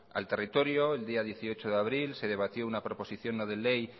al territorio el día dieciocho de abril se debatió una proposición no de ley